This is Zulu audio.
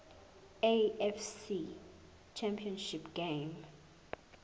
afc championship game